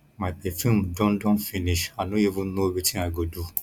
my perfume Accepted Accepted finish i no even know wetin i go do